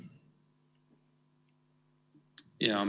Jaa.